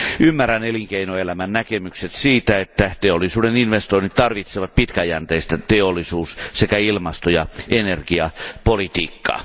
Ymmärrän elinkeinoelämän näkemykset siitä, että teollisuuden investoinnit tarvitsevat pitkäjänteistä teollisuus sekä ilmasto ja energiapolitiikkaa.